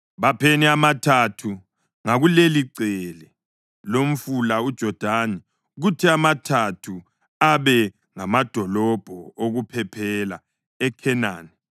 Bapheni amathathu ngakulelicele lomfula uJodani kuthi amathathu abe ngamadolobho okuphephela eKhenani.